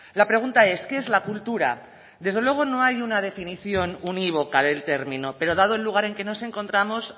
la pregunta es qué es la cultura desde luego no hay una definición unívoca del término pero dado el lugar en que nos encontramos